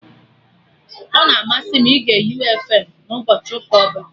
Ọ na-amasị m ịge U fm na ụbọchị ụka ọbụla